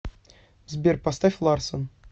сбер поставь ларсон